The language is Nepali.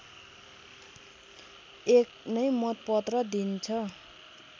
एक नै मतपत्र दिइन्छ